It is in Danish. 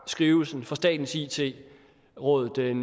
skrivelsen fra statens it råd den